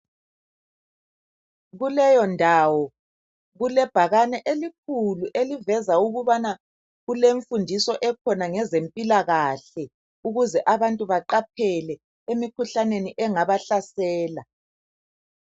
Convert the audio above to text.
Kuleyo ndawo kulebhakani elikhulu eliveza ukubana kulemfundiso ekhona ngezempilakahle ukuze abantu beqaphele emikhuhlaneni engabahlasela.